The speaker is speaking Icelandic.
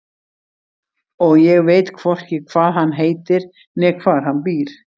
Og ég veit hvorki hvað hann heitir né hvar hann býr.